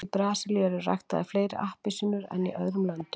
í brasilíu eru ræktaðar fleiri appelsínur en í öðrum löndum